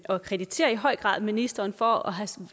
og krediterer i høj grad ministeren for at have